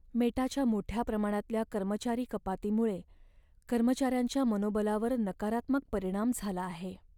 मेटाच्या मोठ्या प्रमाणातल्या कर्मचारी कपातीमुळे कर्मचाऱ्यांच्या मनोबलावर नकारात्मक परिणाम झाला आहे.